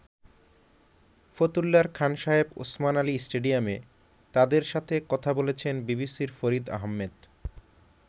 ফতুল্লার খান সাহেব ওসমান আলী স্টেডিয়ামে তাদের সাথে কথা বলেছেন বিবিসির ফরিদ আহমেদ।